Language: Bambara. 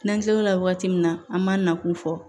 N'an kila l'o la waati min na an m'a nakun fɔ